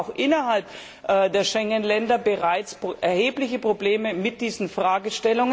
Wir haben auch innerhalb der Schengen Länder bereits erhebliche Probleme in diesen Bereichen.